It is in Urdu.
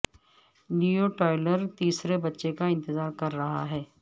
لیو ٹائلر تیسرے بچے کا انتظار کر رہا ہے